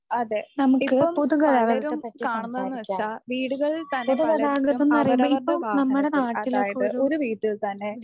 അതെ ഇപ്പം പലരും കാണുന്നതെന്ന് വെച്ചാ വീടുകളിൽ തന്നെ പലർക്കും അവരവരുടെ വാഹനത്തിൽ അതായത് ഒരു വീട്ടിൽ തന്നെ